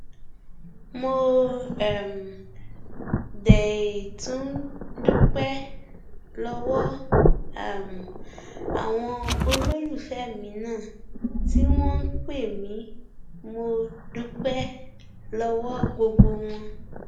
mo um dé tún dúpẹ lọwọ um àwọn olólùfẹ mi náà tí wọn ń pè mí mo dúpẹ lọwọ gbogbo wọn